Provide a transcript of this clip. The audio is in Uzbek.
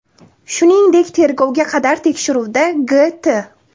Shuningdek, tergovga qadar tekshiruvda G.T.